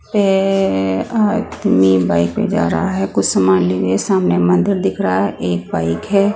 पे आदमी बाइक पे जा रहा है कुछ सामान लेने सामने मंदिर दिख रहा है एक बाइक है।